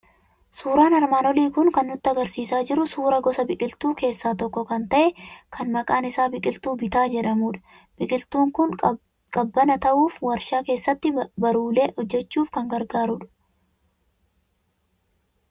Suuraan armaan olii kun kan inni nutti argisiisaa jiru suuraa gosa biqiltuu keessaa tokko ta'e, kan maqaan isaa biqiltuu bitaa jedhamudha. Biqiltuun kun qabbana ta'uuf, waarshaa keessatti baruulee hojjechuuf kan gargaarudha.